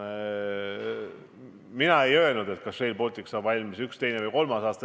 Mina ei ole öelnud, et Rail Baltic saab valmis ühel, teisel või kolmandal aastal.